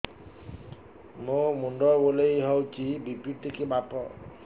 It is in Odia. ମୋ ମୁଣ୍ଡ ବୁଲେଇ ହଉଚି ବି.ପି ଟିକେ ମାପ